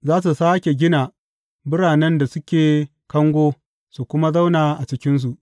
Za su sāke gina biranen da suke kango su kuma zauna a cikinsu.